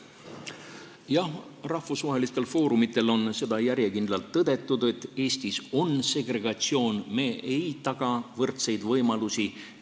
Jah, rahvusvahelistel foorumitel on järjekindlalt tõdetud, et Eestis on segregatsioon, me ei taga võrdseid võimalusi.